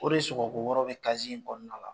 O de sɔgɔko wɔɔrɔ bɛ in kɔnɔna la